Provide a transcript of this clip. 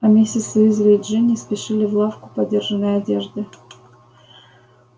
а миссис уизли и джинни спешили в лавку подержанной одежды